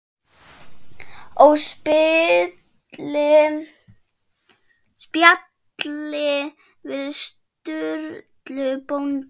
Og spjalli við Sturlu bónda.